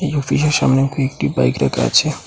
এই অফিসের সামনে কয়েকটি বাইক রাখা আছে।